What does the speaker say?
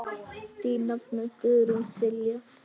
Þín nafna, Guðrún Silja.